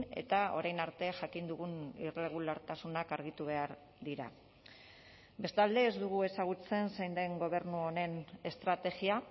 eta orain arte jakin dugun irregulartasunak argitu behar dira bestalde ez dugu ezagutzen zein den gobernu honen estrategia